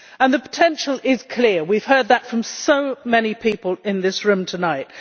The potential is clear we have heard that from so many people in this room tonight.